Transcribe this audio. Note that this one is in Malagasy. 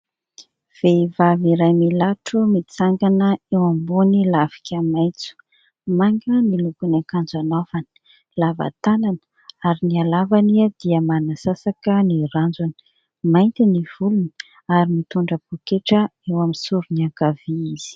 Vehivavy iray milatro mitsangana eo ambony lafika maitso, manga ny lokony akanjo anaovany, lava tanana ary ny alavany dia manasasaka ny ranjony, mainty ny volony ary mitondra poketra eo amin'ny sorony ankavia izy.